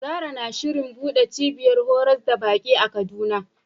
Zarah na shirin buɗe cibiyar horas da baki a Kaduna.